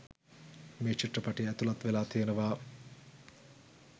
මේ චිත්‍රපටිය ඇතුලත් වෙලා තියෙනවා.